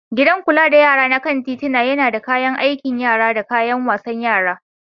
Gidan kula da yara na kan titina yana da kayan aikin yara da kayan wasan yara.